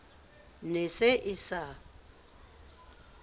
ne e se e sa